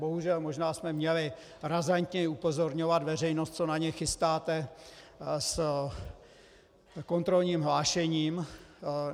Bohužel, možná jsme měli razantněji upozorňovat veřejnost, co na ně chystáte s kontrolním hlášením.